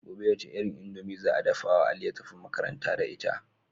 Gobe wace irin indomie za a dafawa ali ya tafi makaranta da ita